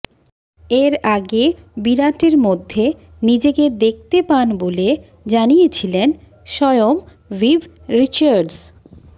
এর আগে বিরাটের মধ্যে নিজেকে দেখতে পান বলে জানিয়েছিলেন স্বয়ম ভিভ রিচার্ডস